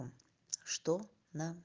что на